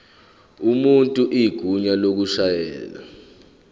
umuntu igunya lokushayela